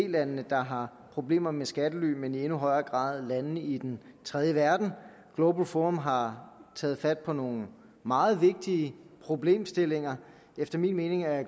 landene der har problemer med skattely men i endnu højere grad landene i den tredje verden global forum har taget fat på nogle meget vigtige problemstillinger efter min mening er